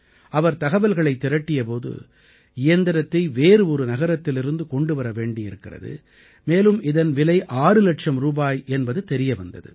அவர் தகவல்களைத் திரட்டிய போது இயந்திரத்தை வேறு ஒரு நகரத்திலிருந்து கொண்டு வர வேண்டியிருக்கிறது மேலும் இதன் விலை ஆறு இலட்சம் ரூபாய் என்பது தெரிய வந்தது